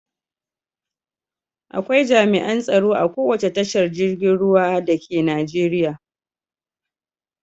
Akwai jami'an tsaro a kowace tashar girgin ruwa dake Najeriya.